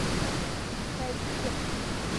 найди техно